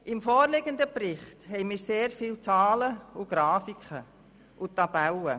Im vorliegenden Bericht haben wir sehr viele Zahlen, Grafiken und Tabellen.